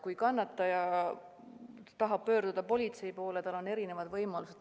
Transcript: Kui kannataja tahab pöörduda politsei poole, siis tal on erinevad võimalused.